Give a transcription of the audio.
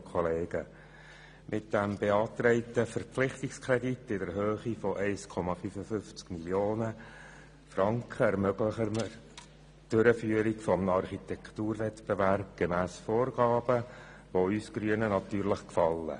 Mit dem beantragten Verpflichtungskredit in der Höhe von 1,55 Mio. Franken ermöglichen wir die Durchführung eines Architekturwettbewerbs gemäss Vorgaben, die uns Grünen natürlich gefallen.